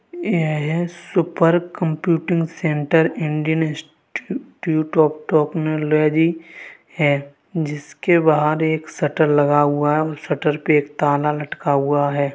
ये super computing centre Indian institute of technology हैं जिसके बाहर एक शटर लगा हुआ हैं और शटर पे एक ताला लटका हुआ हैं।